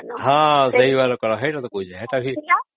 ହଁ ସ୍ୟାହିଵାଲା କଲମ ସେଇଟା ତ କହୁଛି